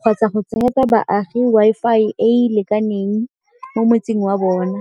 kgotsa go tsenyetsa baagi Wi-Fi e e lekaneng mo motseng wa bona.